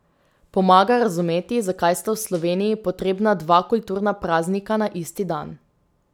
Pomaga razumeti, zakaj sta v Sloveniji potrebna dva kulturna praznika na isti dan.